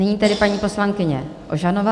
Nyní tedy paní poslankyně Ožanová.